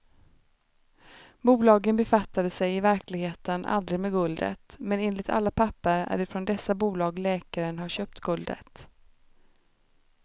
Bolagen befattade sig i verkligheten aldrig med guldet, men enligt alla papper är det från dessa bolag läkaren har köpt guldet.